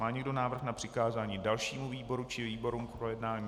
Má někdo návrh na přikázání dalšímu výboru či výborům k projednání?